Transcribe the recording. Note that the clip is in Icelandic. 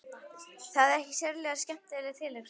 Það er ekki sérlega skemmtileg tilhugsun.